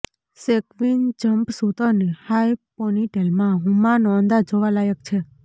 sequin jumpsuit અને high પોનીટેલમાં હુમાનો અંદાજ જોવા લાયક છે